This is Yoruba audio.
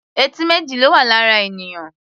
Etí méjì ló wà lára ènìyàn.